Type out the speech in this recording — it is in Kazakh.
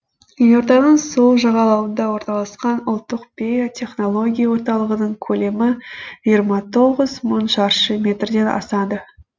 елорданың сол жағалауында орналасқан ұлттық биотехнология орталығының көлемі шаршы метрден асады